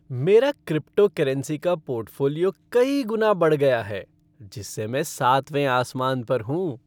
मेरा क्रिप्टोकरेंसी का पोर्टफ़ोलियो कई गुना बढ़ गया है जिससे मैं सातवें आसमान पर हूँ।